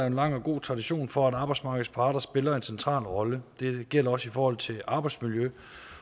en lang og god tradition for at arbejdsmarkedets parter spiller en central rolle det gælder også i forhold til arbejdsmiljøet